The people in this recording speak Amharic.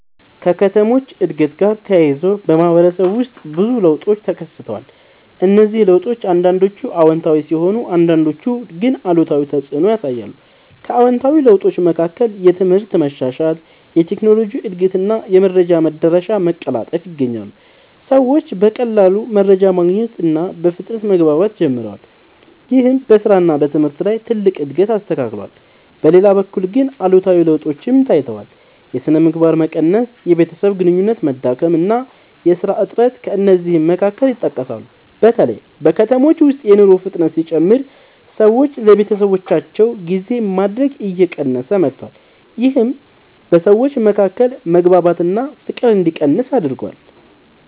ከከተሞች እድገት ጋር ተያይዞ በማህበረሰብ ውስጥ ብዙ ለውጦች ተከስተዋል። እነዚህ ለውጦች አንዳንዶቹ አዎንታዊ ሲሆኑ አንዳንዶቹ ግን አሉታዊ ተፅዕኖ ያሳያሉ። ከአዎንታዊ ለውጦች መካከል የትምህርት መሻሻል፣ የቴክኖሎጂ እድገት እና የመረጃ መዳረሻ መቀላጠፍ ይገኛሉ። ሰዎች በቀላሉ መረጃ ማግኘት እና በፍጥነት መግባባት ጀምረዋል። ይህም በስራ እና በትምህርት ላይ ትልቅ እድገት አስከትሏል። በሌላ በኩል ግን አሉታዊ ለውጦችም ታይተዋል። የሥነ ምግባር መቀነስ፣ የቤተሰብ ግንኙነት መዳከም እና የሥራ እጥረት ከእነዚህ መካከል ይጠቀሳሉ። በተለይ በከተሞች ውስጥ የኑሮ ፍጥነት ሲጨምር ሰዎች ለቤተሰባቸው ጊዜ ማድረግ እየቀነሰ መጥቷል። ይህም በሰዎች መካከል መግባባት እና ፍቅር እንዲቀንስ አድርጓል።